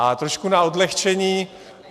A trošku na odlehčení.